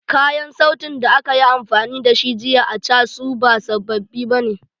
Kayan sautin da aka yi amfani da shi jiya a casun ba sababbi bane.